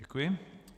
Děkuji.